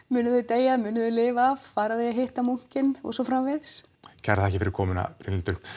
munu þau deyja munu þau lifa af fara þau að hitta munkinn og svo framvegis kærar þakkir fyrir komuna Brynhildur